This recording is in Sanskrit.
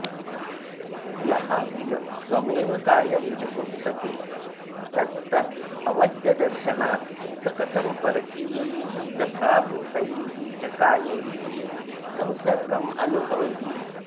यः किल स्वमेव कायं जुगुप्सते तत्तदवद्यदर्शनात् स कथं परकीयैस्तथाभूतैश्च कायैः संसर्गमनुभवति